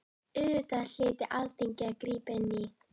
Auðvitað hlyti Alþingi að grípa inn í.